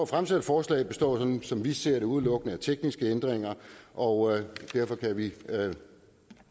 fremsatte forslag består som vi ser det udelukkende af tekniske ændringer og derfor kan vi